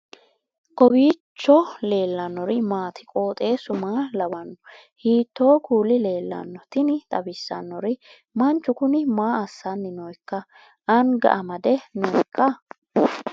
kowiicho leellannori maati ? qooxeessu maa lawaanno ? hiitoo kuuli leellanno ? tini xawissannori manchiu kuni maa asanni nooikka anga made nooikka